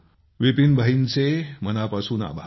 विपिन भाईंचे मनापासून आभार